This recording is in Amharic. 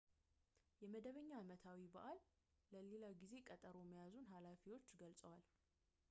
የመደበኛ አመታዊ በዓል ቀን ለሌላ ጊዜ ቀጠሮ መያዙን ኃላፊዎች ገልፀዋል